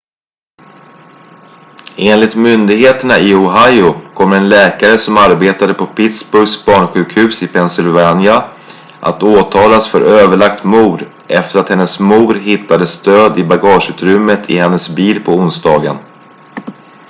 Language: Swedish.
enligt myndigheterna i ohio kommer en läkare som arbetade på pittsburghs barnsjukhus i pennsylvania att åtalas för överlagt mord efter att hennes mor hittades död i bagageutrymmet i hennes bil på onsdagen